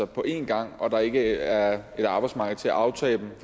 på en gang og der ikke er et arbejdsmarked til at aftage dem